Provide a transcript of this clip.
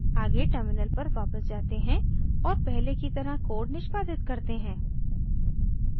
आगे टर्मिनल पर वापस जाते हैं और पहले की तरह कोड निष्पादित करते हैं